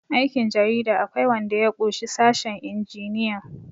aikin jarida akwai wanda ya ƙushi sashen injiniyan